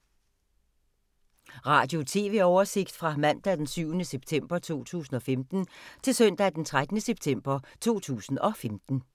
Radio/TV oversigt fra mandag d. 7. september 2015 til søndag d. 13. september 2015